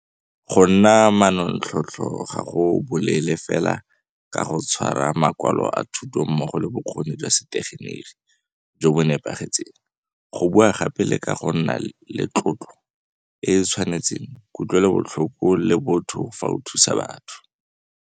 Go nna manontlhotlho ga go bolele fela ka go tshwara makwalo a thuto mmogo le bokgoni jwa setegeniki jo bo nepagetseng, go bua gape le ka go nna le tlotlo e e tshwanetseng, kutlwelobotlhoko le botho fa o thusa baagi.